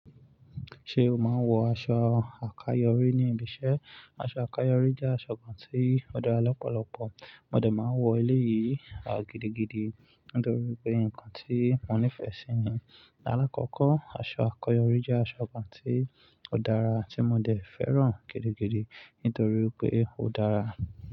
Ṣé o máa ń wọ aṣọ àkayòrí ní ibi iṣẹ́? Aṣọ àkayòrí jẹ́ aṣọ kan tí ó dára lọ́pọ̀lọpọ̀. Mo dẹ máa ń wọ eléyìí gidi gidi nítorí pé nǹkan tí mo nífẹ̀ẹ́ sí ni. Láàkọ́kọ́, aṣọ àkayòrí jẹ́ aṣọ kan tí ó dára tí mo dẹ fẹ́ràn gidigidi nítorí pé ó dára.